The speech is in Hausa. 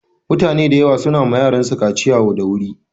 Mutane da yawa su na wa yaransu kaciya da wuri.